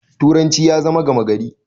turanci ya zama gamagari